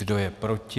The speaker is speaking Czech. Kdo je proti?